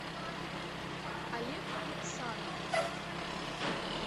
олег иксанов